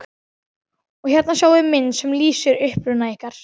Og hérna sjáiði mynd sem lýsir uppruna ykkar.